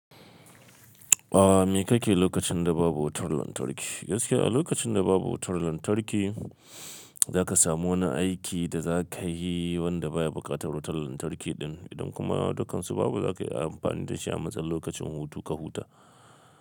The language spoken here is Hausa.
A me kake lokacin da babu wutar lantarki? Gaskiya a lokacin da babu wutar lantarki za ka samu wani aiki da za ka yi wanda baya buƙatar wutar lantarki din. Idan kuma dukansu babu za ka yi amfani da shi a matsayin lokacin hutu ka huta.